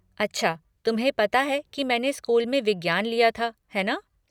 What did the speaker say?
अच्छा, तुम्हें पता है की मैंने स्कूल में विज्ञान लिया था, है ना।